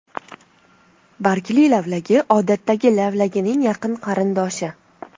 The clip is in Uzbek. Bargli lavlagi odatdagi lavlagining yaqin qarindoshi.